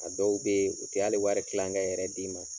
A dɔw be ye, u te hali wari tilanŋɛ yɛrɛ d'i' ma.